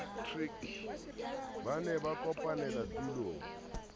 ba ne ba kopanele tulong